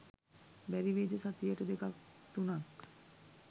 බැරිවෙයිද සතියට දෙකක් තුනක්